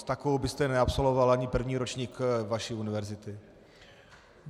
S takovou byste neabsolvoval ani první ročník vaší univerzity.